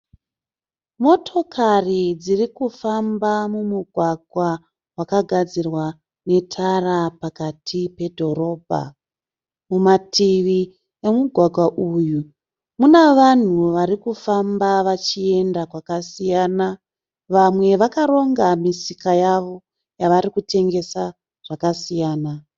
Motokari dzirikufamba mumugwagwa makagadzirwa netara pakati pedhorobha. Mumativi emugwagwa uyu muna vanhu varikufamba vachienda kwakasiyana. Vamwe vakaronga misika yavo yavarikutengesa zvakasiyana